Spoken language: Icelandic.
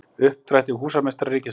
Uppdrætti: Húsameistari ríkisins.